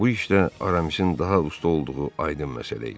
Bu işdə Aramisin daha usta olduğu aydın məsələ idi.